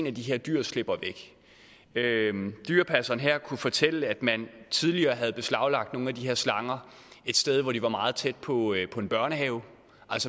af de her dyr slipper væk dyrepasseren her kunne fortælle at man tidligere havde beslaglagt nogle af de her slanger et sted hvor de var meget tæt på en børnehave